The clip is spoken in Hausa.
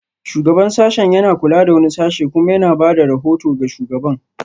Shugaban sashen yana kula da wani sashe kuma yana ba da rahoto ga shugaban